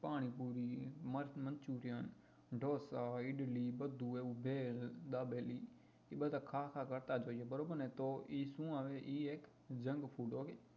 panipuri manchurian dosa idli બધું એવું ભેળ દાબેલી એ બધા ખા ખા કરતા જઈએ બરોબર ને તો એ શું આવે એ એક junk food હોય